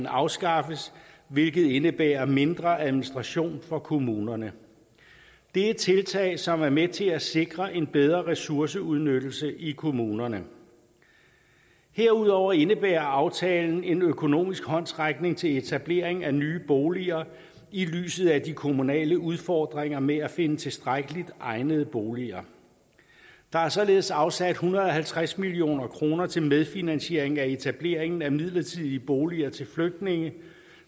afskaffes hvilket indebærer mindre administration på kommunerne det er tiltag som er med til at sikre en bedre ressourceudnyttelse i kommunerne herudover indebærer aftalen en økonomisk håndsrækning til etablering af nye boliger i lyset af de kommunale udfordringer med at finde tilstrækkeligt egnede boliger der er således afsat en hundrede og halvtreds million kroner til medfinansiering af etableringen af midlertidige boliger til flygtninge